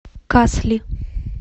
касли